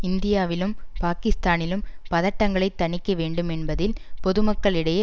இந்தியாவிலும் பாகிஸ்தானிலும் பதட்டங்களைத் தணிக்க வேண்டும் என்பதில் பொதுக்களிடையே